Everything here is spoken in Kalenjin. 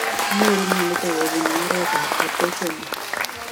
Kinyoruu mionitok kobunuu oret ab atosomol .